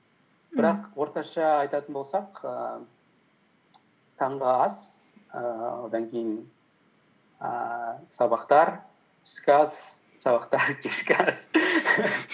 бірақ орташа айтатын болсақ ііі таңғы ас ііі одан кейін ііі сабақтар түскі ас сабақтар кешкі ас